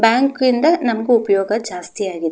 ಬ್ಯಾಂಕಿಂದ ನಮಗೆ ಉಪಯೋಗ ಜಾಸ್ತಿ ಆಗಿದೆ.